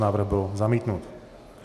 Návrh byl zamítnut.